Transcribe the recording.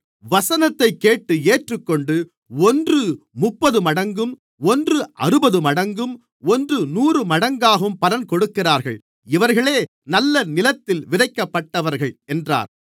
வசனத்தைக்கேட்டு ஏற்றுக்கொண்டு ஒன்று முப்பதுமடங்கும் ஒன்று அறுபதுமடங்கும் ஒன்று நூறுமடங்காகவும் பலன்கொடுக்கிறார்கள் இவர்களே நல்ல நிலத்தில் விதைக்கப்பட்டவர்கள் என்றார்